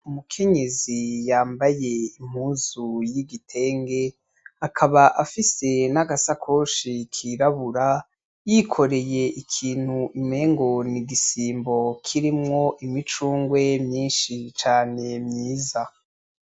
Umukenyezi yambaye impuzu y'igitenge, akaba afise nagasakoshi kirabura, yikoreye ikintu umengo n'igisimbo kirimwo imicungwe myinshi cane myiza.